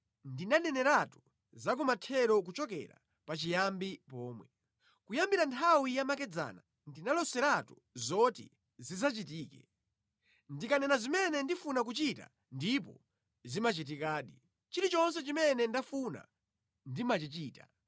Ndinaneneratu zakumathero kuchokera pachiyambi pomwe. Kuyambira nthawi yamakedzana ndinaloseratu zoti zidzachitike. Ndikanena zimene ndifuna kuchita ndipo zimachitikadi. Chilichonse chimene ndafuna ndimachichita.